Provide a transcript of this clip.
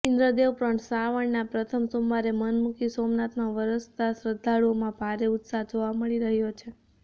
ઇન્દ્રદેવ પણ શ્રાવણના પ્રથમ સોમવારે મનમુકી સોમનાથમાં વરસતા શ્રદ્ધાળુઓમાં ભારે ઉત્સાહ જોવા મળી રહ્યો છે